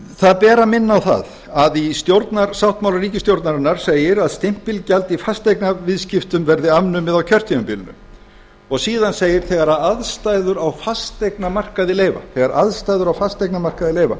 það ber að minna á það að í stjórnarsáttmála ríkisstjórnarinnar segir að stimpilgjald í fasteignaviðskiptum verði afnumið á kjörtímabilinu síðan segir þegar aðstæður á fasteignamarkaði leyfa